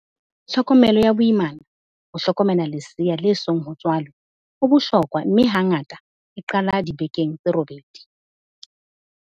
Tlhokomelo ya boimana, ho hlokomela lesea le song ho tswalwe, ho bohlokwa mme hangata e qala dibekeng tse robedi.